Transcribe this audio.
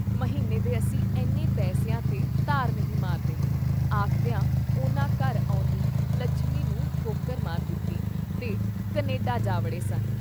“ਮਹੀਨੇ ਦੇ ਅਸੀਂ ਐਨੇ ਪੈਸਿਆਂ ਤੇ ਧਾਰ ਨਹੀਂ ਮਾਰਦੇ” ਆਖਦਿਆਂ ਉਨ੍ਹਾਂ ਘਰ ਆਉਂਦੀ ਲੱਛਮੀ ਨੂੰ ਠੋਕਰ ਮਾਰ ਦਿੱਤੀ ਤੇ ਕਨੇਡਾ ਜਾ ਵੜੇ ਸਨ।